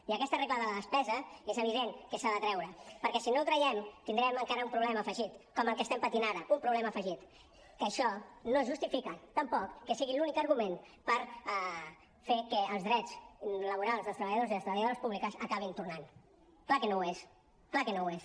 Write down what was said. i aquesta regla de la despesa és evident que s’ha de treure perquè si no la traiem tindrem encara un problema afegit com el que estem patint ara un problema afegit que això no justifica tampoc que sigui l’únic argument per fer que els drets laborals dels treballadors i les treballadores públiques acabin tornant clar que no ho és clar que no ho és